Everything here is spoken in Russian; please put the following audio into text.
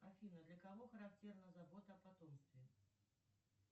афина для кого характерна забота о потомстве